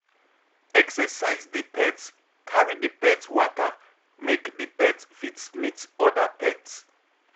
Exercise di pet, carry di pet waka make di pet fit meet oda pet